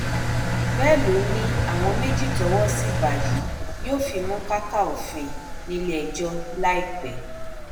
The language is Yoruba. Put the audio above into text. bẹẹ ló ní àwọn méjì tówó sì bá yìí yóò fimú káká òfin nílẹẹjọ láìpẹ